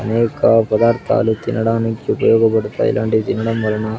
అనేక పదార్థాలు తినడానికి ఉపయోగపడతాయి ఇలాంటివి తినడం వలన --